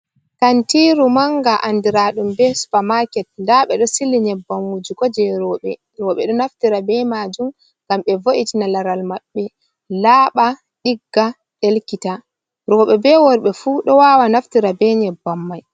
Kantiru manga andiraa ɗum be super market. Nda ɓeɗo sili nyebbam wujugo jei rowɓe. Rowɓe ɗo naftira be majum ngam ɓe vo’itina laral maɓɓe, laaba, ɗigga, ɗelkita. rowɓe be worɓe fu ɗo wawa naftira be nyebbam mai.